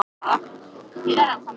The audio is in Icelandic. Fót mun brot þér færa sút.